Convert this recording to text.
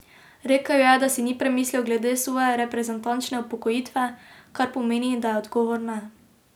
Rekel je, da si ni premislil glede svoje reprezentančne upokojitve, kar pomeni, da je odgovor ne.